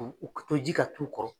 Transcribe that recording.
U ka to ji ka t'u kɔrɔ.